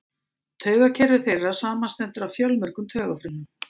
Taugakerfi þeirra samanstendur af fjölmörgum taugafrumum.